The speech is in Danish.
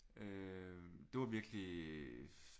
Øh det var virkelig